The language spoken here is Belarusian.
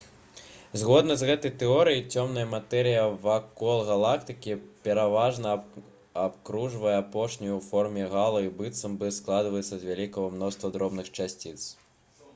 згодна з гэтай тэорыяй цёмная матэрыя вакол галактыкі пераважна абкружае апошнюю ў форме гало і быццам бы складаецца з вялікага мноства дробных часціц